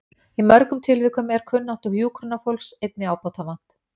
Í mörgum tilvikum er kunnáttu hjúkrunarfólks einnig ábótavant.